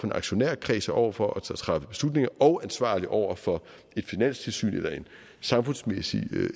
en aktionærkreds og over for at træffe beslutninger og ansvarlig over for et finanstilsyn eller en samfundsmæssig